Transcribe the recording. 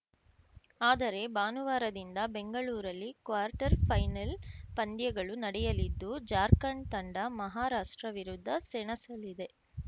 ಆದರೆ ಭಾನುವಾರದಿಂದ ಬೆಂಗಳೂರಲ್ಲಿ ಕ್ವಾರ್ಟರ್‌ ಫೈನಲ್‌ ಪಂದ್ಯಗಳು ನಡೆಯಲಿದ್ದು ಜಾರ್ಖಂಡ್‌ ತಂಡ ಮಹಾರಾಷ್ಟ್ರ ವಿರುದ್ಧ ಸೆಣಸಲಿದೆ